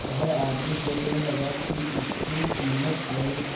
वह आदमी सोचने लगा की इसके कीमत और